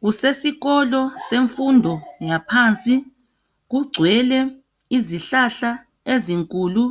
Kusesikolo semfundo yaphansi kugcwele izihlahla ezinkulu